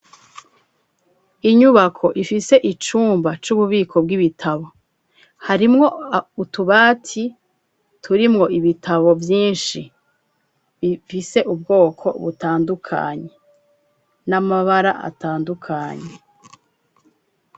Inyubako ifise icumba c'ububiko bw'ibitabo, harimwo utubati turimwo ibitabo vyinshi bifise ubwoko butandukanye n'amabara atandukanye.